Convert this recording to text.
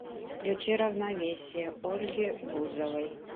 включи равновесие ольги бузовой